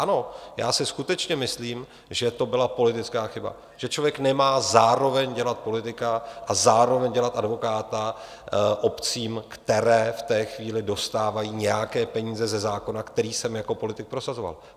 Ano, já si skutečně myslím, že to byla politická chyba, že člověk nemá zároveň dělat politika a zároveň dělat advokáta obcím, které v té chvíli dostávají nějaké peníze ze zákona, který jsem jako politik prosazoval.